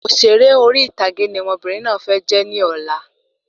Òṣèré orí ìtàgé ni ọmọbìnrin náà fẹ́ jẹ ní ọ̀la